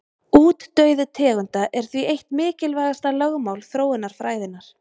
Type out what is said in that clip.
Útdauði tegunda er því eitt mikilvægasta lögmál þróunarfræðinnar.